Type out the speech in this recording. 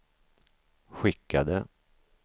skickade